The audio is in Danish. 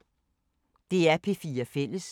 DR P4 Fælles